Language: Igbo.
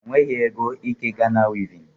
O nweghị ego ike Ghana wivin